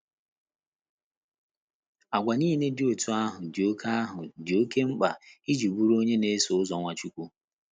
Àgwà nile dị otú ahụ dị oké ahụ dị oké mkpa iji bụrụ onye na - eso ụzọ Nwachukwu.